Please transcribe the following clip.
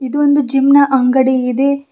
ಇದು ಒಂದು ಜಿಮ್ ನ ಅಂಗಡಿ ಇದೆ.